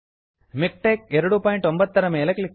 ಮಿಕ್ಟೆಕ್ಸ್ MiKTeX 29 ರ ಮೇಲೆ click ಮಾಡಿ